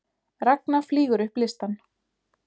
Ragna flýgur upp listann